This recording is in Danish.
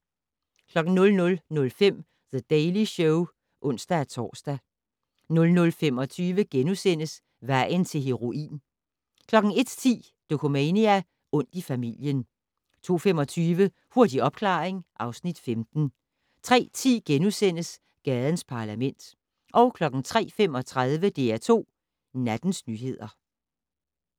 00:05: The Daily Show (ons-tor) 00:25: Vejen til heroin * 01:10: Dokumania: Ondt i familien 02:25: Hurtig opklaring (Afs. 15) 03:10: Gadens Parlament * 03:35: DR2 Nattens nyheder